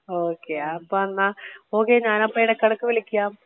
Okay അപ്പോ എന്ന okay ഞാൻ ഇടക്ക് ഇടക്ക് വിളിക്കാം.